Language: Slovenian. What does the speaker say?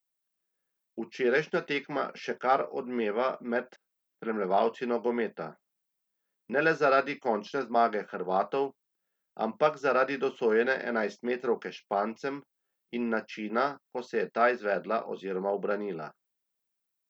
Včerajšnja tekma še kar odmeva med spremljevalci nogometa, ne le zaradi končne zmage Hrvatov, ampak zaradi dosojene enajstmetrovke Špancem in načina, ko se je ta izvedla oziroma ubranila.